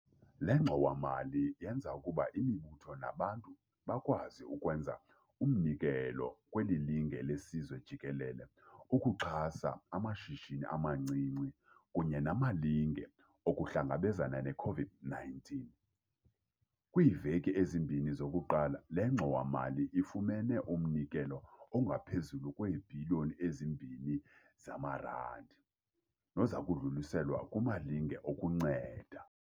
Le ngxowa-mali yenza ukuba imibutho nabantu bakwazi ukwenza umnikelo kweli linge lesizwe jikelele ukuxhasa amashishini amancinci kunye namalinge okuhlangabezana ne-COVID-19. Kwiiveki ezimbini zokuqala, le ngxowa-mali ifumene umnikelo ongaphezulu kwee-Bhiliyoni eziMbini zamaRandi, noza kudluliselwa kumalinge okunceda.